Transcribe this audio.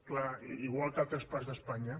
és clar igual que a altres parts d’espanya